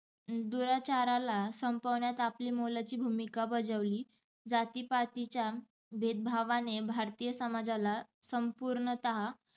दुराचारला संपवण्यात आपली मोलाची भुमिका बजावली. जाती-पतीच्या भेदभावणे भारतीय समाजाला संपुर्णतः